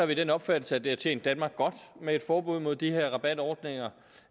vi den opfattelse at det har tjent danmark godt med et forbud mod de her rabatordninger